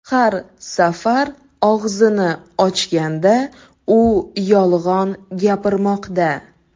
Har safar og‘zini ochganda, u yolg‘on gapirmoqda.